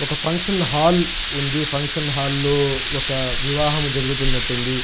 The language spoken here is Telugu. ఒక ఫంక్షన్ హాల్ ఉంది. ఫంక్షన్ హాల్ లో ఒక వివాహం జరుగుతున్నటుంది.